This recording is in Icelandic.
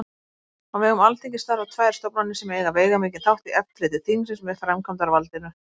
Á vegum Alþingis starfa tvær stofnanir sem eiga veigamikinn þátt í eftirliti þingsins með framkvæmdarvaldinu.